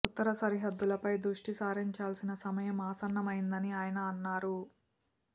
ఉత్తర సరిహద్దులపై దృష్టి సారించాల్సిన సమయం ఆసన్నమైందని ఆయన అన్నారు